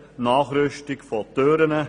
Nachrüstung von Türen;